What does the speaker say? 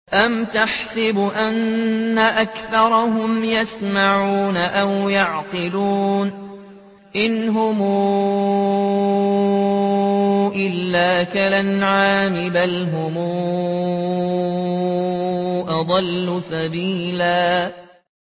أَمْ تَحْسَبُ أَنَّ أَكْثَرَهُمْ يَسْمَعُونَ أَوْ يَعْقِلُونَ ۚ إِنْ هُمْ إِلَّا كَالْأَنْعَامِ ۖ بَلْ هُمْ أَضَلُّ سَبِيلًا